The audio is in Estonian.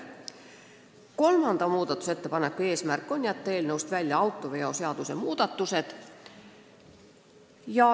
Kolmanda muudatusettepaneku eesmärk on jätta eelnõust välja autoveoseaduse muudatused.